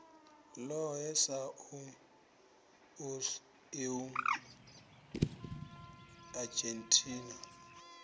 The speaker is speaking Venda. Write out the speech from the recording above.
lohe sa us eu argentina